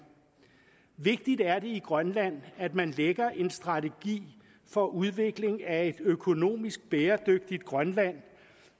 vigtigt er det i grønland at man lægger en strategi for udvikling af et økonomisk bæredygtigt grønland